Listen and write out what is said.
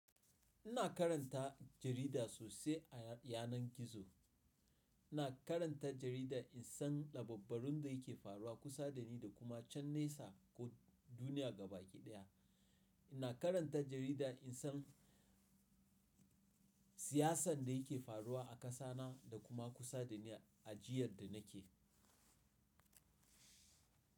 Ina karanta jarida sosai a yanar gizo. Ina karanta jarida in san dabbabbarun da yake faruwa kusa da ni da kuma can nesa ko duniya gaba ɗaya. Ina karanta jarida in san siyasan da yake faruwa a ƙasa na da kuma kusa da ni ajiyar da nake.